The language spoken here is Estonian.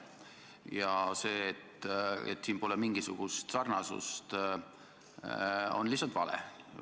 Ja see, et siin pole mingisugust sarnasust, on lihtsalt vale.